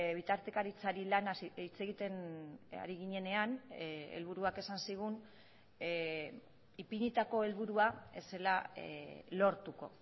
bitartekaritzari lanaz hitz egiten ari ginenean helburuak esan zigun ipinitako helburua ez zela lortuko